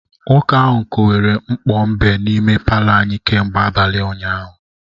Nwoke ahụ kowere mkpo mbe n’ime palọ anyị kemgbe abalị ụnyahụ